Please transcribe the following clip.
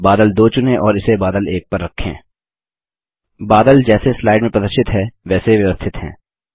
अब बादल 2 चुनें और इसे बादल 1 पर रखें बादल जैसे स्लाइड में प्रदर्शित हैं वैसे व्यवस्थित हैं